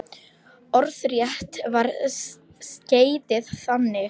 Orðrétt var skeytið þannig